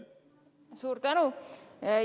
Suur tänu!